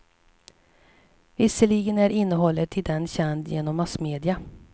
Visserligen är innehållet i den känd genom massmedia.